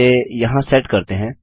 इसे यहाँ सेट करते हैं